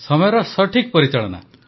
ସମୟର ସଠିକ୍ ପରିଚାଳନା